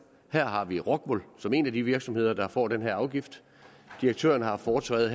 her har vi rockwool som en af de virksomheder der får den her afgift direktøren har haft foretræde